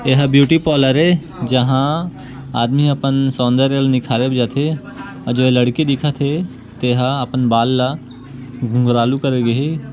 एहा beauty parlour ए जहां आदमी अपन सौन्दर्य ल निखारे बर जाथे अऊ एजो लड़की दिखा थे तेहा अपन बाल ल घुँघरालु करे गे हे।